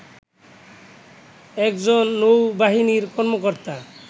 একজন নৌ বাহিনীর কর্মকর্তা